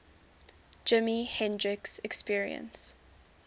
jimi hendrix experience